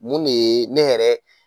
Mun de ye ne yɛrɛ.